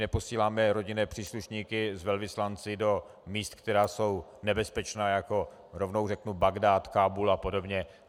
Neposíláme rodinné příslušníky s velvyslanci do míst, která jsou nebezpečná, jako rovnou řeknu Bagdád, Kábul a podobně.